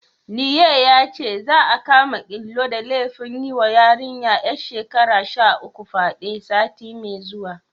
Liye yace, za'a kama Ilu da laifin yiwa yarinya ƴar shekara sha uku fyaɗe, sati mai zuwa.